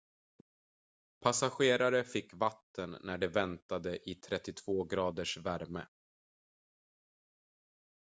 passagerare fick vatten när de väntade i 32-graders värme